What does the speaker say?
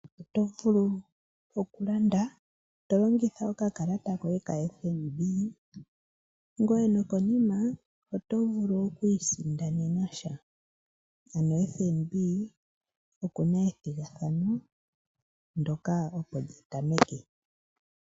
Otovulu oku landa tolongitha oka kalata koye ka FNB ,ngweye nokonima otovulu okwiisindanena sha, ano FNB okuna ethigathano ndoka opo lyatameke.